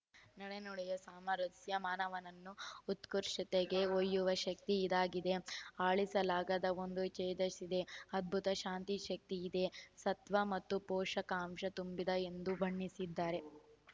ನಡೆನುಡಿಯ ಸಾಮರಸ್ಯ ಮಾನವನನ್ನು ಉತ್ಕೃಷ್ಟತೆಗೆ ಒಯ್ಯುವ ಶಕ್ತಿ ಇದಕ್ಕಿದೆ ಅಳಿಸಲಾಗದ ಒಂದು ತೇಜಸ್ಸಿದು ಅದ್ಭುತ ಕಾಂತಿಶಕ್ತಿ ಇದೆ ಸತ್ವ ಮತ್ತು ಪೋಷಕಾಂಶ ತುಂಬಿದ ಎಂದು ಬಣ್ಣಿಸಿದರು